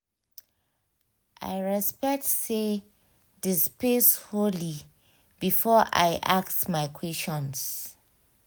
i respect say the space holy before i ask my questions.